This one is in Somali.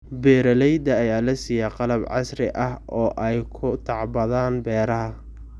Beeralayda ayaa la siiyay qalab casri ah oo ay ku tacbadaan beeraha.